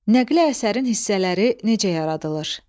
Nəqli əsərin hissələri necə yaradılır?